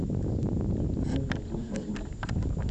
узнай прогноз погоды